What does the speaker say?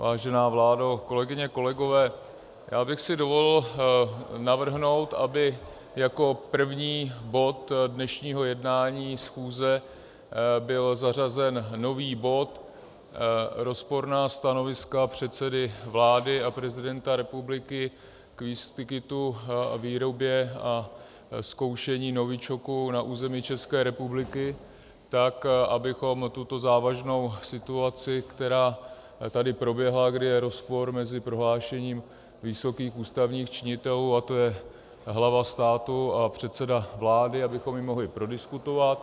Vážená vládo, kolegyně, kolegové, já bych si dovolil navrhnout, aby jako první bod dnešního jednání schůze byl zařazen nový bod Rozporná stanoviska předsedy vlády a prezidenta republiky k výskytu, výrobě a zkoušení novičoku na území České republiky, tak abychom tuto závažnou situaci, která tady proběhla, kdy je rozpor mezi prohlášením vysokých ústavních činitelů, a to je hlava státu a předseda vlády, abychom ji mohli prodiskutovat.